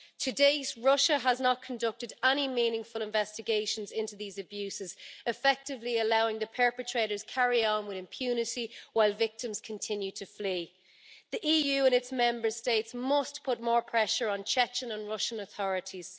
To date, Russia has not conducted any meaningful investigations into these abuses, effectively allowing the perpetrators to carry on with impunity while victims continue to flee. The EU and its Member States must put more pressure on the Chechen and Russian authorities.